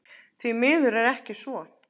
Því miður er ekki svo.